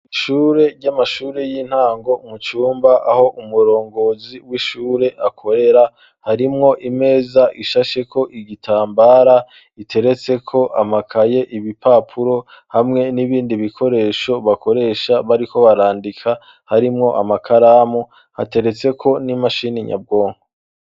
Ishure ry'amashuri y'intango mucumba aho umurongozi w'ishure akorera .Harimwo imeza ishashe ko igitambara iteretse ko amakaye ibipapuro hamwe n'ibindi bikoresho bakoresha bari ko barandika harimwo amakaramu hateretse ko n'imashini nyabwongo.